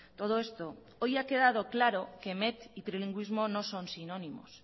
todo esto hoy ha quedado claro que met y trilingüismo no son sinónimos